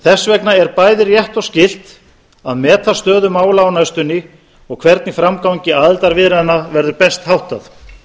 þess vegna er bæði rétt og skylt að meta stöðu mála á næstunni og hvernig framgangi aðildarviðræðna verður best háttað